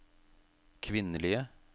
kvinnelige